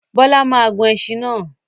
Bọ́lá máa gun ẹṣin náà.